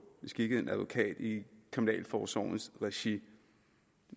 beskikket en advokat i kriminalforsorgens regi